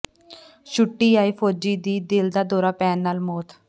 ਛੁੱਟੀ ਆਏ ਫ਼ੌਜੀ ਦੀ ਦਿਲ ਦਾ ਦੌਰਾ ਪੈਣ ਨਾਲ ਮੌਤ